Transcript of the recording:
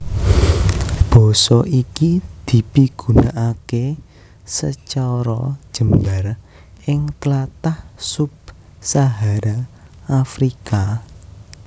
Basa iki dipigunakaké sacara jembar ing tlatah sub Sahara Afrika